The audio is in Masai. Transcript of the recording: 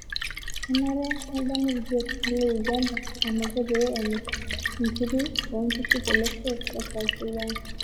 Kenare nedamu ilbiasharani le Uganda enaiko pee emirr nkiri oo nkishu tolosho le South Sudan